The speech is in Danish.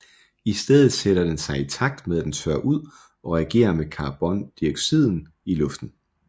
I stedet sætter den sig i takt med at den tørrer ud og reagerer med carbondioxiden i luften